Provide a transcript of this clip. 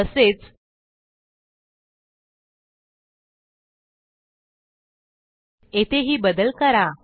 तसेच येथेही बदल करा